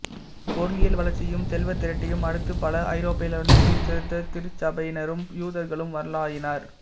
பொருளியல் வளர்ச்சியையும் செல்வத் திரட்டையும் அடுத்து பல ஐரோப்பாவிலிருந்து சீர்திருத்தத் திருச்சபையினரும் யூதர்களும் வரலாயினர்